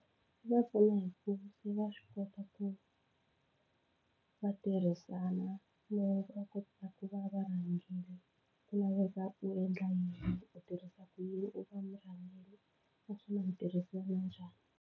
Swi va pfuna hi ku se va swi kota ku va tirhisana no va kota ku va varhangeri ku laveka u endla yini u tirhisa ku yini u nga murhangeri naswona mi tirhisana njhani.